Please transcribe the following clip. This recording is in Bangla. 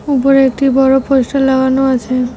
উপরে একটি বড় পোস্টার লাগানো আছে।